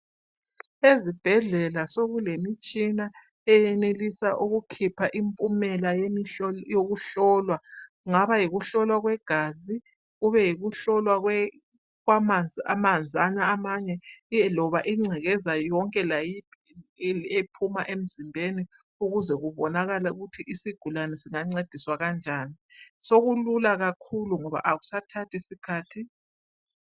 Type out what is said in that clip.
ezibhedlela sokulemitshina eyenelisa ukukhipha impumela yokuhlolwa kungaba yikuhlolwa kwegasi kube ukuhlolwa kwamanzi lengcekeza yonke ephuma emzimbeni ukuze kubonakale ukuba isigulane sincediswa kanjani sokulula kakhulu ngoba akusathathi sikhathi.